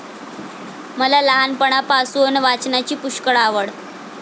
मला लहानपणापासून वाचनाची पुष्कळ आवड.